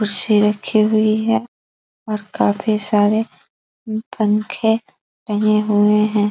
कुर्शी रखी हुई है और काफी सारे पंखे टंगे हुए हैं |